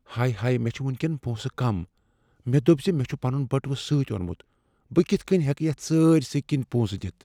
ہے ہے۔ مےٚ چھےٚ وٕنۍ کین پۄنسہٕ کم، مےٚ دوٚپ زِ مےٚ چُھ پنُن بٔٹوٕ سۭتۍ اوٚنمت۔ بہٕ کتھ کٔنۍ ہیکہٕ یتھ سٲرۍسٕے کِنۍ پۄنسہٕ دِتھ؟